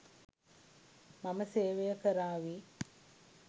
මම සේවය කරාවි